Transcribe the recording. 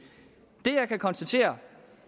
det jeg kan konstatere